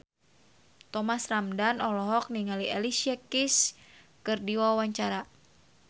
Thomas Ramdhan olohok ningali Alicia Keys keur diwawancara